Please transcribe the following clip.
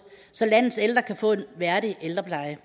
så landets ældre kan få en værdig ældrepleje